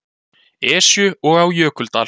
Esju og á Jökuldal.